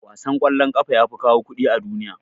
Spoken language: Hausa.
Wasan kwallon kafa yafi kawo kuɗi a duniya.